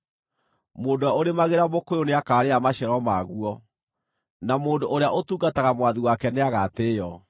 Mũndũ ũrĩa ũrĩmagĩra mũkũyũ nĩakaarĩa maciaro maguo, na mũndũ ũrĩa ũtungataga mwathi wake nĩagatĩĩo.